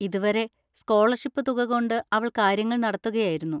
ഇതുവരെ സ്കോളർഷിപ് തുകകൊണ്ട് അവൾ കാര്യങ്ങൾ നടത്തുകയായിരുന്നു.